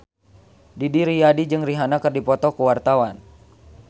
Didi Riyadi jeung Rihanna keur dipoto ku wartawan